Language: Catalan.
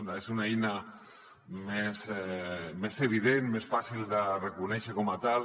ha de ser una eina més evident més fàcil de reconèixer com a tal